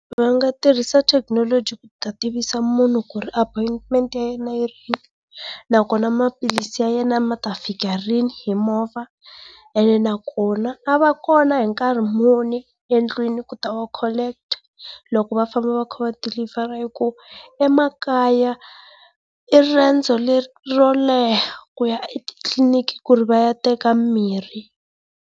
Va nga tirhisa thekinoloji ku ta tivisa munhu ku ri appointment ya yena yi rini nakona maphilisi ya yena ma ta fika rini hi movha ene nakona a va kona hi nkarhi muni endlini ku ta ma collect loko va famba fa kha va dilivhara hi ku emakaya i riendzo ro leha ku ya etitliniki ku ri va ya teka mimirhi.